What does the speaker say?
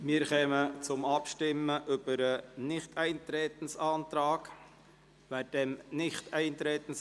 Wir stimmen über den Antrag auf Nichteintreten ab.